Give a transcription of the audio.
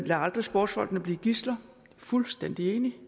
lad aldrig sportsfolkene blive gidsler fuldstændig enig